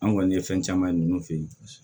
An kɔni ye fɛn caman ninnu fɛ yen